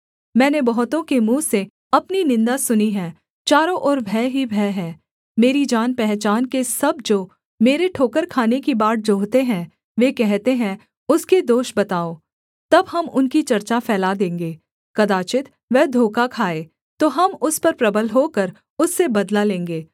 मैंने बहुतों के मुँह से अपनी निन्दा सुनी है चारों ओर भय ही भय है मेरी जानपहचान के सब जो मेरे ठोकर खाने की बाट जोहते हैं वे कहते हैं उसके दोष बताओ तब हम उनकी चर्चा फैला देंगे कदाचित् वह धोखा खाए तो हम उस पर प्रबल होकर उससे बदला लेंगे